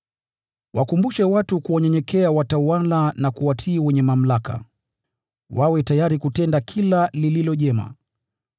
Wakumbushe watu kuwanyenyekea watawala na kuwatii wenye mamlaka, wawe tayari kutenda kila lililo jema.